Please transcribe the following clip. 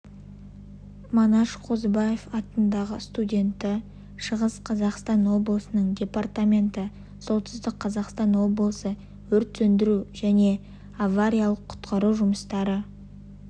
манаш қозыбаев атындағы студенті шығыс қазақстан облысының департаменті солтүстік қазақстан облысы өрт сөндіру және авариялық-құтқару жұмыстары